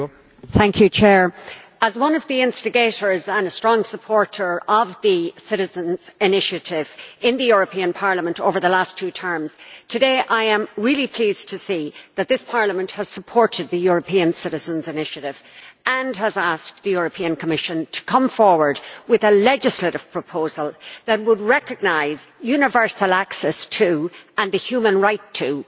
Mr President, as one of the instigators and a strong supporter of the Citizens' Initiative in the European Parliament over the last two terms, I am really pleased today to see that this Parliament has supported this European Citizens' Initiative and has asked the Commission to come forward with a legislative proposal that would recognize universal access to, and the human right to, water.